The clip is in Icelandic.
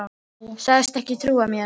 Sagðist ekki trúa mér.